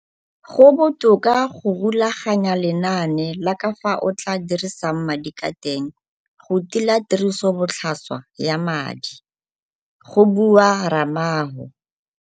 Go botoka go rulaganya lenane la ka fao o tla dirisang madi ka teng go tila tirisobotlhaswa ya madi go bua Ramalho.